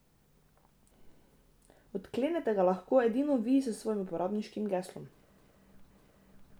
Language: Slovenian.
Odklenete ga lahko edino vi s svojim uporabniškim geslom.